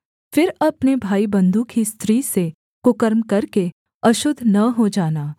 फिर अपने भाईबन्धु की स्त्री से कुकर्म करके अशुद्ध न हो जाना